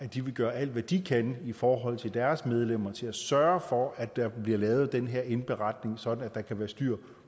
de vil gøre alt hvad de kan for deres medlemmer til at sørge for at der bliver lavet den her indberetning sådan at der kan være styr